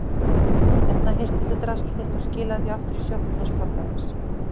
Hérna, hirtu þetta drasl þitt og skilaðu því aftur í sjoppuna hans pabba þíns.